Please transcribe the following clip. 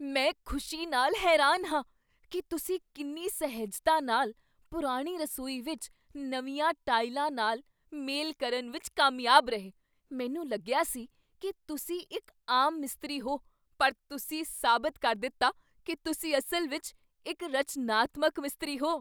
ਮੈਂ ਖੁਸ਼ੀ ਨਾਲ ਹੈਰਾਨ ਹਾਂ ਕੀ ਤੁਸੀਂ ਕਿੰਨੀ ਸਹਿਜਤਾ ਨਾਲ ਪੁਰਾਣੀ ਰਸੋਈ ਵਿੱਚ ਨਵੀਆਂ ਟਾਇਲਾਂ ਨਾਲ ਮੇਲ ਕਰਨ ਵਿੱਚ ਕਾਮਯਾਬ ਰਹੇ। ਮੈਨੂੰ ਲੱਗਿਆ ਸੀ ਕੀ ਤੁਸੀਂ ਇੱਕ ਆਮ ਮਿਸਤਰੀ ਹੋ ਪਰ ਤੁਸੀਂ ਸਾਬਤ ਕਰ ਦਿੱਤਾ ਕੀ ਤੁਸੀਂ ਅਸਲ ਵਿੱਚ ਇੱਕ ਰਚਨਾਤਮਕ ਮਿਸਤਰੀ ਹੋ।